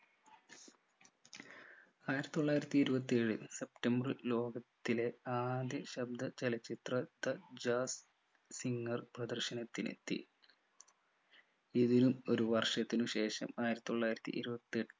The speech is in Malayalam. ആയിരത്തിത്തൊള്ളായിരത്തി ഇരുപത്തിയേഴിൽ സെപ്റ്റംബർ ലോകത്തിലെ ആദ്യ ശബ്ദ ചലച്ചിത്ര ത്ര jas singer പ്രദർശനത്തിനെത്തി ഇതിനും ഒരു വർഷത്തിന് ശേഷം ആയിരത്തിത്തൊള്ളായിരത്തി ഇരുപത്തി